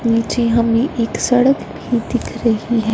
पीछे हमे एक सड़क भी दिख रही है।